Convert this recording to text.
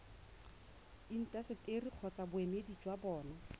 intaseteri kgotsa boemedi jwa bona